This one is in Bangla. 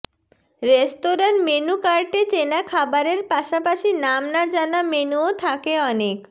রেস্তোরাঁর মেন্যু কার্টে চেনা খাবারের পাশাপাশি নাম না জানা মেন্যুও থাকে অনেক